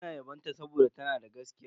Suna yabon ta saboda tana da gaskiya.